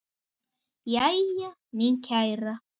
Jæja, mín kæra.